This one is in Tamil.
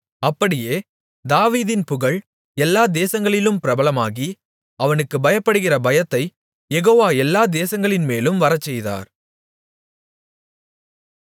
அப்படியே தாவீதின் புகழ் எல்லா தேசங்களிலும் பிரபலமாகி அவனுக்குப் பயப்படுகிற பயத்தைக் யெகோவா எல்லா தேசங்களின்மேலும் வரச்செய்தார்